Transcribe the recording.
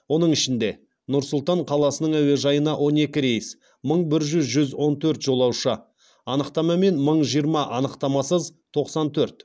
оның ішінде нұр сұлтан қаласының әуежайына он екі рейс мың бір жүз он төрт жолаушы анықтамамен мың жиырма анықтамасыз тоқсан төрт